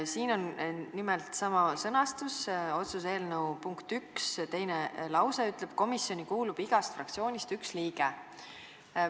Siin on nimelt sama sõnastus, otsuse eelnõu punkti 1 teine lause ütleb, et komisjoni kuulub igast fraktsioonist üks liige.